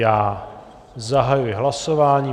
Já zahajuji hlasování.